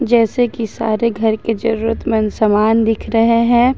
जैसे कि सारे घर की जरूरत मंद समान दिख रहे हैं।